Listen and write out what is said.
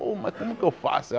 Pô, mas como que eu faço?